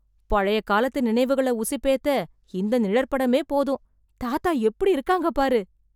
பழைய காலத்து நினைவுகள உசுப்பேத்த இந்த நிழற்படமே போதும், தாத்தா எப்படி இருக்காங்க பாரு.